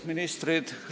Ministrid!